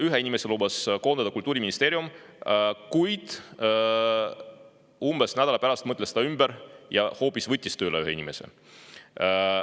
Ühe inimese lubas Kultuuriministeerium koondada, kuid umbes nädala pärast mõtles ümber ja hoopis võttis veel ühe inimese tööle.